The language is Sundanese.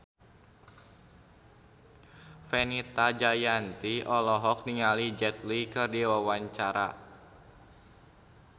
Fenita Jayanti olohok ningali Jet Li keur diwawancara